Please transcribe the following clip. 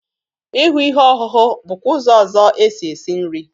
Ị hụ ihe ọhụhụ bụkwa ụzọ ọzọ e si esi nri.